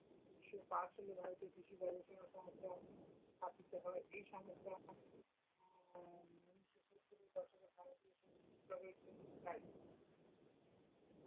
ঊনিশশো পাঁচ সালে ভারতে কৃষি গবেষণা সংস্থা স্থাপিত হয়, এই সংস্থা উম ঊনিশশো সত্তর এর দশকে ভারতে সবুজ বিপ্লব এর জন্য দায়ী।